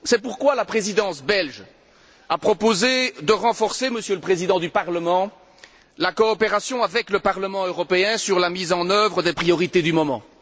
C'est pourquoi la Présidence belge a proposé de renforcer, Monsieur le Président du Parlement, la coopération avec le Parlement européen sur la mise en œuvre des priorités du moment.